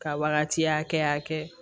Ka wagati hakɛya kɛ